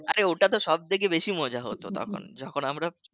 আরে ওটা তো সবথেকে বেশি মজা হোত তখন যখন আমরা